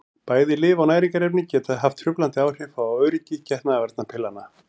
bæði lyf og næringarefni geta haft truflandi áhrif á öryggi getnaðarvarnarpilla